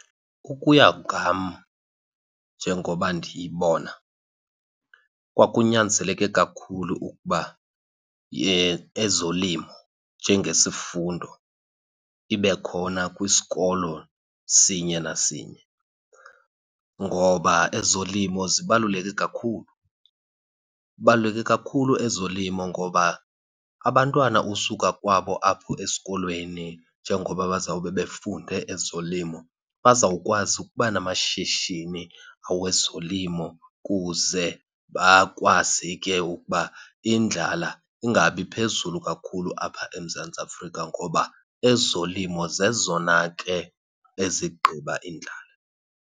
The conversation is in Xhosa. Ukuya ngam njengoba ndiyibona kwakunyanzeleke kakhulu ukuba ezolimo njengesifundo ibe khona kwisikolo sinye nasinye, ngoba ezolimo zibaluleke kakhulu. Ibaluleke kakhulu ezolimo ngoba abantwana usuka kwabo apho esikolweni njengoba bazawube befunde ezolimo bazawukwazi ukuba namashishini awezolimo, kuze bakwazi ke ukuba indlala ingabi phezulu kakhulu apha eMzantsi Afrika ngoba ezolimo zezona ke ezigqiba indlala.